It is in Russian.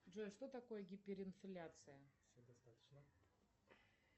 джой что такое гиперинфляция